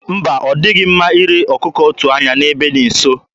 Mba, ọ dịghị mma ire ọkụkụ otu anya n'ebe dị nso.